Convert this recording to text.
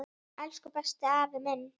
Elsku besti afi minn.